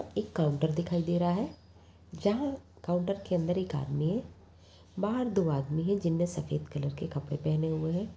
एक काउंटर दिखाई दे रहा है जहाँ काउंटर के अंदर एक आदमी है बाहर दो आदमी है जिन ने सफेद कलर के कपड़े पहने हुए हैं।